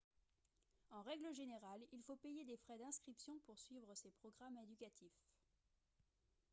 en règle générale il faut payer des frais d'inscription pour suivre ces programmes éducatifs